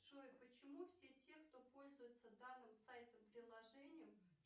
джой почему все те кто пользуется данным сайтом приложением